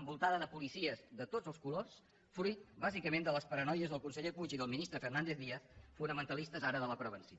envoltada de policies de tots els colors fruit bàsicament de les paranoies del conseller puig i del ministre fernández díaz fonamentalistes ara de la prevenció